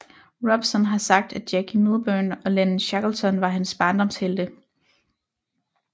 Robson har sagt at Jackie Milburn og Len Shackleton var hans barndomshelte